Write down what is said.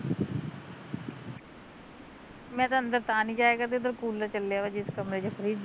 ਮੈਂ ਤਾਂ ਅੰਦਰ ਦਾ ਨੀ ਜਾਇਆ ਕਰਦੀ ਉਦਰ ਕੂਲਰ ਚੱਲਿਆ ਵਾ ਜਿਸ ਕਮਰੇ ਚ ਫਰਿੱਜ ਐ